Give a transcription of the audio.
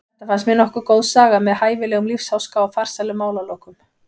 Þetta fannst mér nokkuð góð saga með hæfilegum lífsháska og farsælum málalokum.